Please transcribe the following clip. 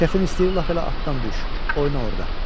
Kefin istəyir lap elə atdan düş, oyna orada.